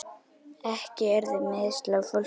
Ekki urðu meiðsli á fólki.